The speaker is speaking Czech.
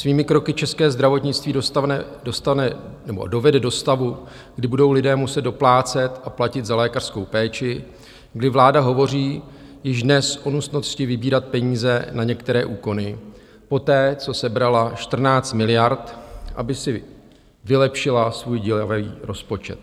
Svými kroky české zdravotnictví dovede do stavu, kdy budou lidé muset doplácet a platit za lékařskou péči, kdy vláda hovoří již dnes o nutnosti vybírat peníze na některé úkony, poté co sebrala 14 miliard, aby si vylepšila svůj děravý rozpočet.